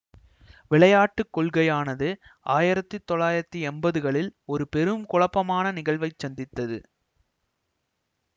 விளையாட்டு கொள்கையானது ஆயிரத்தி தொள்ளாயிரத்தி எம்பதுகளில் ஒரு பெரும் குழப்பமான நிகழ்வைச் சந்தித்தது